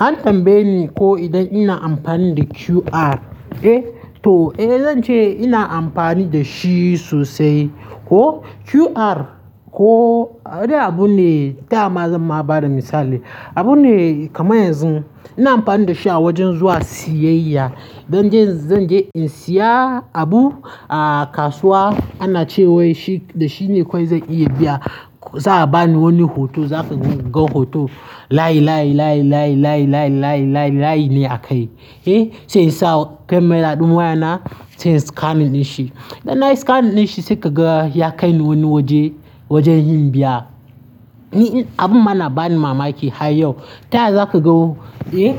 An tambaye ni ko idan ina amfani da QR, eh? To, eh zan ce ina amfani da shi sosai. Ko QR ko abune, taya ma zan ma ba da misali. Abune kamar yanzu ina amfani da shi a wajen zuwa siyayya. Zan je, zan je in siya abu a kasuwa, ana cewa dashi, da shi ne kawai zan iya biya. Za a bani wani hoto, za ka ga hoto layi, layi, layi, layi, layi, layi, layi, layi, layi ne akai, eh? Sai in sa kamera ɗin wayana, sai in scanin din shi. Idan na scanin shi sai ka ga ya kai ni wani waje, waje yin biya. Ni abun ma na ba ni mamaki har yau. Taya za ku ga, eh?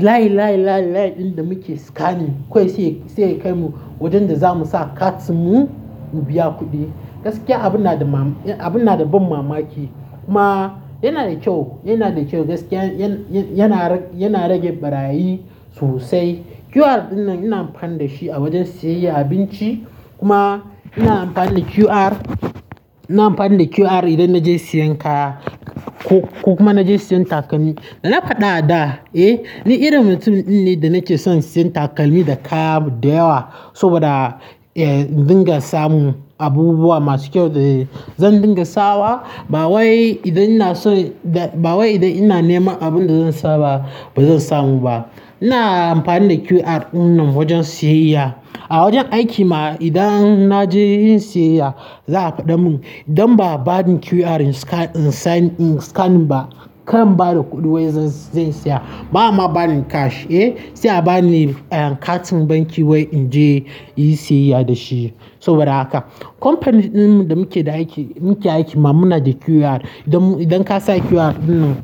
Line, line, line, line ɗin da muke scanning kawai sai, sai ya kai mu wajen da za mu sa cards mu, mu biya kuɗi. Gaskiya abun na da ma, abun na da ban mamaki. Ma yana da kyau, yana da kyau gaskiya. Yana rage ɓarayi sosai. QR ɗin nan ina amfani da shi a wajen siyayya abinci. Kuma ina amfani da QR, ina amfani da QR idan naje sayan kaya. Kokuma idan naje siyan taƙalmi, na fada a da, ni irin mutum dinne ne da nake son siyan taƙalmi da kaya dayewa. Saboda na dinga samun abubuwa masu kyau dayewa. Zan dinga sawa, ba wai idan ina so, ba wai idan ina neman abun da zan sa ba, ba zan samu ba. Ina amfani da QR ɗin nan wajen siyayya. A wajen aiki ma idan na je yin siyayya, za a faɗa mun idan ba a bani QR in scan, in sani, in scaniing ba, kar in ba da kuɗin wai zan, zan saya. Ba'a ma bani cash, eh? Sai a bani katin banki wai in je yin siyayya da shi. Saboda haka. Company ɗin mu da muke da aiki, muke aiki ma muna da QR. Idan ka sa QR ɗin nan.